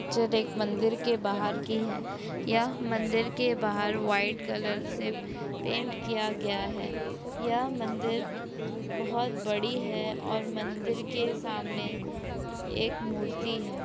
यह पिक्चर एक मंदिर के बाहर की है यह मंदिर के बाहर वाइट कलर से पेंट किया गया है यह मंदिर बहुत बड़ी है और मंदिर के सामने एक मूर्ति है।